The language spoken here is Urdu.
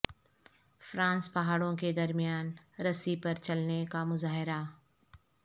فرانس پہاڑوں کے درمیان رسی پر چلنے کا مظاہرہ